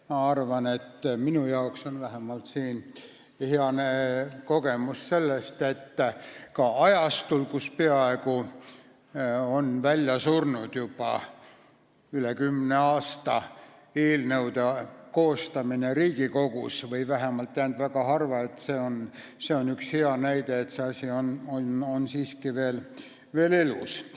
Minu arvates on see vähemalt hea näide selle kohta, et ka ajastul, kui juba üle kümne aasta on eelnõude koostamine Riigikogus peaaegu välja surnud või vähemalt tehakse seda väga harva, on see asi siiski veel elus.